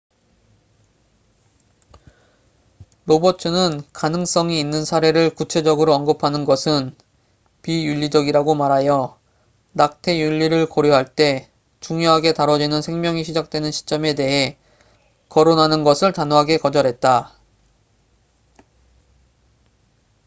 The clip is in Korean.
로버츠는 가능성이 있는 사례를 구체적으로 언급하는 것은 비윤리적이라고 말하여 낙태 윤리를 고려할 때 중요하게 다뤄지는 생명이 시작되는 시점에 대헤 거론하는 것을 단호하게 거절했다